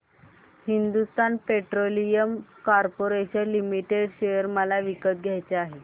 Hindustan petroleum corporation limited share मला विकत घ्यायचे आहेत